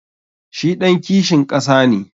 Shi ɗan kishin ƙasa ne.